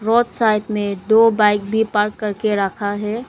Road side में दो bike भी पार्क करके रखा है।